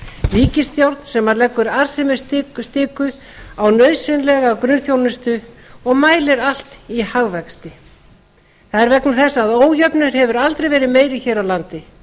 ríkisstjórn sem leggur arðsemisstiku á nauðsynlega grunnþjónustu og mælir allt í hagvexti það er vegna þess að ójöfnuður hefur aldrei verið meiri hér á landi